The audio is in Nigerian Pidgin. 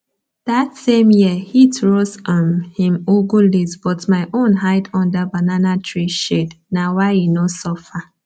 that same year heat roast um him ugu leaves but my own hide under banana tree shadena why e no suffer